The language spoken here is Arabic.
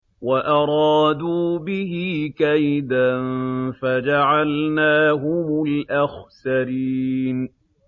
وَأَرَادُوا بِهِ كَيْدًا فَجَعَلْنَاهُمُ الْأَخْسَرِينَ